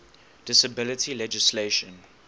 disability legislation